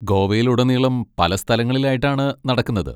ഗോവയിലുടനീളം പല സ്ഥലങ്ങളിലായിട്ടാണ് നടക്കുന്നത്.